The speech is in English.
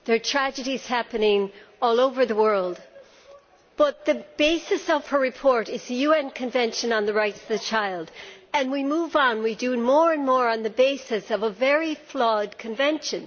Tragedies are happening all over the world, but the basis of her report is the UN Convention on the Rights of the Child and we move on, we do more and more on the basis of a very flawed convention.